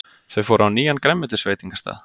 Þau fóru á nýjan grænmetisveitingastað.